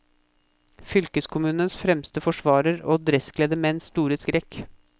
Fylkeskommunens fremste forsvarer, og dresskledde menns store skrekk.